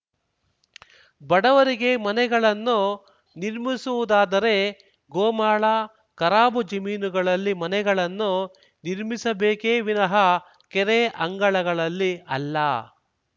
ಬಡವರಿಗೆ ಮನೆಗಳನ್ನು ನಿರ್ಮಿಸುವುದಾದರೆ ಗೋಮಾಳ ಖರಾಬು ಜಮೀನುಗಳಲ್ಲಿ ಮನೆಗಳನ್ನು ನಿರ್ಮಿಸಬೇಕೇ ವಿನಃ ಕೆರೆ ಅಂಗಳಲ್ಲಿ ಅಲ್ಲ